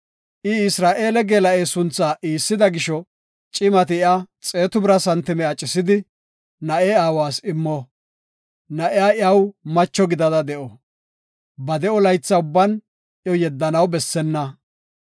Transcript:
I Isra7eele geela7e sunthaa iissida gisho, cimati iya xeetu bira santime acisidi, na7e aawas immo. Na7iya iyaw macho gidada de7o; ba de7o laytha ubban iyo yeddanaw bessenna.